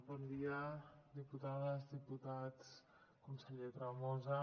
bon dia diputades diputats conseller tremosa